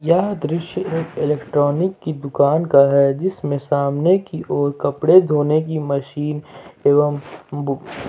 यह दृश्य एक इलेक्ट्रॉनिक की दुकान का है जिसमें सामने की ओर कपड़े धोने की मशीन एवं --